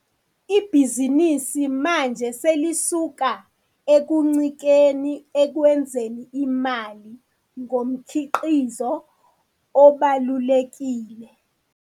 Ibhizinisi manje selisuka ekuncikeni ekwenzeni imali ngomkhiqizo obalulekile.